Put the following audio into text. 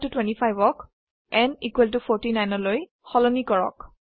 n 25 ক n 49 লৈ সলনি কৰক